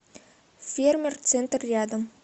фермер центр рядом